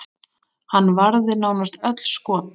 Hann varði nánast öll skot.